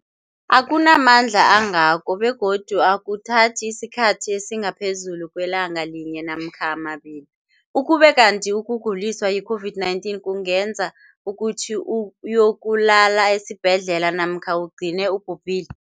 akuna mandla angako begodu akuthathi isikhathi esingaphezulu kwelanga linye namkha mabili, ukube kanti ukuguliswa yi-COVID-19 kungenza ukuthi uyokulala esibhedlela namkha ugcine ubhubhile.